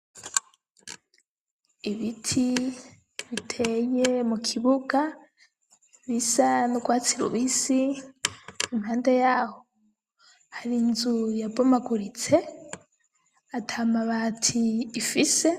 Ibiti biteye mukibuga bisa n'urwatsi rubisi, impande yaho har'inzu yabomaguritse, atamabati ifise.